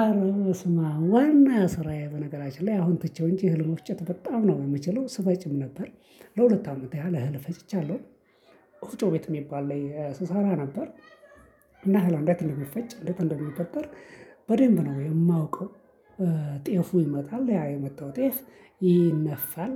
አረ በስማም ዋና ስራዬ በነገራችን ላይ አሁን ትቼው እንጂ እህል መፍጨት በጣም ነው የምችለው ስፈጭም ነበር። ለሁለት አመት ያህል እህል ፈጭቻለሁ። ወፍጮ ቤት የሚባል ላይ ስሳራ ነበር። እና እህል አንዴት እንደሚፈጭ እንዴት እንደሚበጠር። በደንብ ነው የማውቀው። ጤፉ ይመጣል ያ የመጣው ጤፍ ይነፋል።